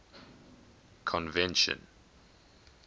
convention